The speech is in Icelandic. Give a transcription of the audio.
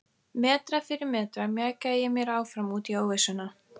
Metra fyrir metra mjakaði ég mér áfram út í óvissuna.